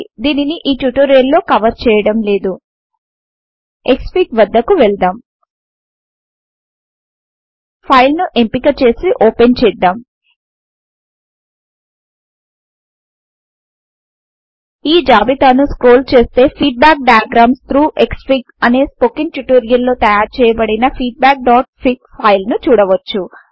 దీనిని ఈ ట్యుటోరియల్ లో కవర్ చేయడం లేదు క్స్ఫిగ్ వద్దకు వెళ్దాం ఫైల్ ను ఎంపిక చేసి ఓపెన్ చేద్దాం ఈ జాబితాను స్క్రోల్ చేస్తే ఫీడ్బ్యాక్ డయాగ్రామ్స్ థ్రౌగ్ క్స్ఫిగ్ అనే స్పోకెన్ ట్యుటోరియల్ లో తయారు చేయబడిన feedbackఫిగ్ ఫైల్ ను చూడవచ్చు